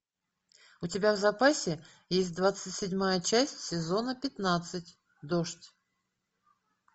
у тебя в запасе есть двадцать седьмая часть сезона пятнадцать дождь